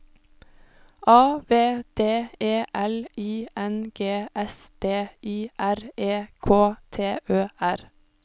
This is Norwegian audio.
A V D E L I N G S D I R E K T Ø R